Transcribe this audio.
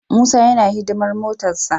Musa yana hidimar motarsa.